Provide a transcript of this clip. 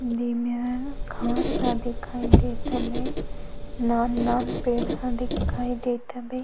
दे मेरा घाँस हा दिखाई देत हवे नान-नान ह दिखाई देत हवे --